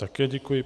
Také děkuji.